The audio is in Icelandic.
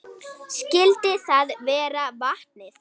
Skyldi það vera vatnið?